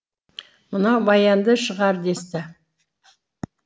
мынау баянды шығар десті